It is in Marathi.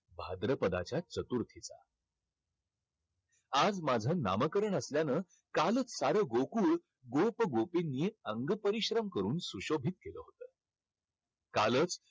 भाद्रपदाच्या चतुर्थीचा. आज माझं नामकरण असल्यानं कालच सारं गोकुळ गोप-गोपींनी अंगपरिश्रम करून सुशोभित केलं होतं. कालच